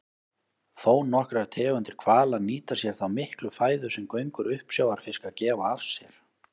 Þónokkrar tegundir hvala nýta sér þá miklu fæðu sem göngur uppsjávarfiska gefa af sér.